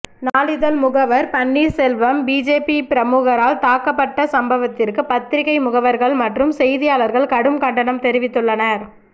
நாளிதழ் முகவர் பன்னீர்செல்வம் பிஜேபி பிரமுகரால் தாக்கப்பட்ட சம்பவத்திற்கு பத்திரிகை முகவர்கள் மற்றும் செய்தியாளர்கள் கடும் கண்டனம் தெரிவித்துள்ளனர்